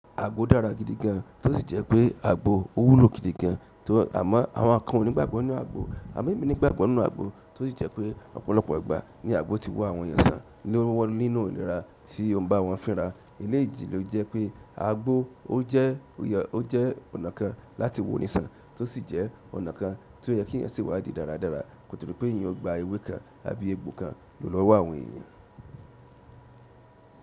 Àgbo dára gidi gan an tó sì jẹ́ pé àgbo ó wúlò gidi gan an tó àmọ́ àwọn kan ò ní gbàgbọ́ nínú àgbo, amo emi nigbàgbọ́ nínú àgbo tó sì jẹ́ pé ọ̀pọ̀lọpọ̀ ìgbà ní àgbo ti wo àwọn èèyàn sàn ló ń wọ́n nínú inira tí ó ń bá wọn fínra. Ekeyii ji lo jẹ́ pé àgbo ó jẹ́, ó jẹ́ ọ̀nà kan láti wo nísàn tó sì jẹ́ ọ̀nà kan tí ó yẹ kí èèyàn se wádìí dáradára, kòtòdí pé èèyàn gba ewé kan àbí agbò kan lò lọwó àwọn èèyàn.